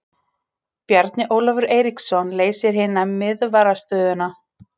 Bjarni Ólafur Eiríksson leysir hina miðvarðarstöðuna.